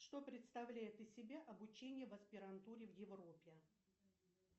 что представляет из себя обучение в аспирантуре в европе